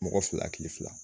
Mɔgɔ fila akili fila